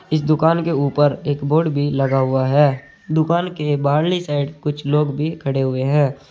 इस दुकान के ऊपर एक बोर्ड भी लगा हुआ है दुकान के बाहरी साइड कुछ लोग भी खड़े हुए हैं।